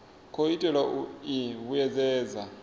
khou itelwa u i vhuedzedza